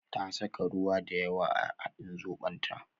Ta saka ruwa dayawa a hadin zobon ta